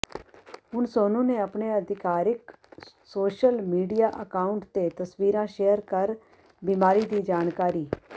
ਹੁਣ ਸੋਨੂ ਨੇ ਆਪਣੇ ਆਧਿਕਾਰਿਕ ਸੋਸ਼ਲ ਮੀਡੀਆ ਅਕਾਊਂਟ ਤੇ ਤਸਵੀਰਾਂ ਸ਼ੇਅਰ ਕਰ ਬੀਮਾਰੀ ਦੀ ਜਾਣਕਾਰੀ